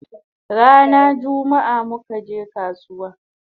Rana jummaa muka je kasuwa